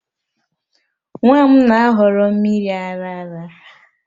Nwa m na-ahọrọ mmiri ara ara